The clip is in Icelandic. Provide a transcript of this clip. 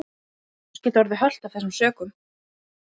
Sara skoraði hjá Söndru